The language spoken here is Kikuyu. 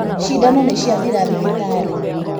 Cindano nĩciathira thibitarĩ